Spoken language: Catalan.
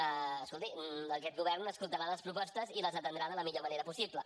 escolti aquest govern escoltarà les propostes i les atendrà de la millor manera possible